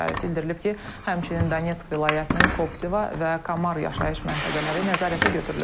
Bildirilib ki, həmçinin Donetsk vilayətinin Koptiva və Kamar yaşayış məntəqələri nəzarətə götürülüb.